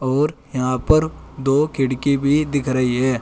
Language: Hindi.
और यहां पर दो खिड़की भी दिख रही है।